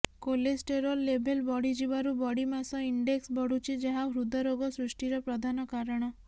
cholesterol level ବଢିଯିବାରୁ body mass index ବଢୁଛି ଯାହା ହୃଦ ରୋଗ ସୃଷ୍ଟିର ପ୍ରଧାନ କାରଣ